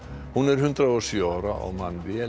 hún er hundrað og sjö ára og man vel